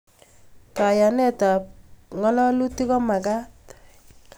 Kayanet ab kalalutik komakat